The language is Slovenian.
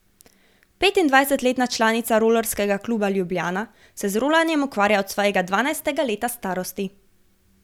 Petindvajsetletna članica Rolerskega kluba Ljubljana se z rolanjem ukvarja od svojega dvanajstega leta starosti.